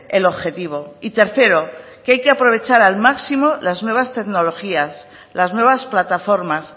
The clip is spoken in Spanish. el objetivo y tercero que hay que aprovechar al máximo las nuevas tecnologías las nuevas plataformas